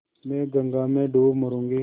मैं गंगा में डूब मरुँगी